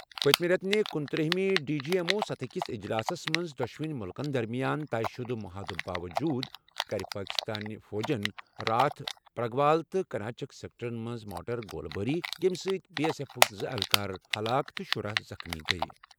پٔتمہِ رٮ۪تہٕ کنُتٔرہ ڈی جی ایم او سطحٕکِس اجلاسَس منٛز دۄشوٕنی مُلکَن درمِیان طے شُدٕ محادٕ باووٚجوٗد کٔر پٲکِستٲنہِ فوجَن راتھ پرگوال تہٕ کناچک سیکٹرَن منٛز مارٹر گولہٕ باری کرنہٕ سۭتۍ بی ایس ایف کۍ زٕ اہلکار ہلاک تہٕ شُرہَ زخمی ۔